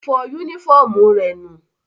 Ó fọ yúnífọ̀mù rẹ̀ nù